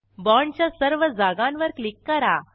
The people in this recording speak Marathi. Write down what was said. बाँडच्या सर्व जागांवर क्लिक करा